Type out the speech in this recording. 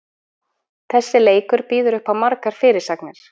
Þessi leikur býður uppá margar fyrirsagnir.